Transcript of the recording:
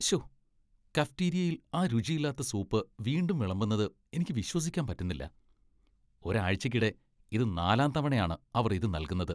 ശ്ശോ, കഫ്റ്റീരിയയിൽ ആ രുചിയില്ലാത്ത സൂപ്പ് വീണ്ടും വിളമ്പുന്നത് എനിക്ക് വിശ്വസിക്കാൻ പറ്റുന്നില്ല. ഒരാഴ്ചയ്ക്കിടെ ഇത് നാലാം തവണയാണ് അവർ ഇത് നൽകുന്നത്.